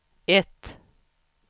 ett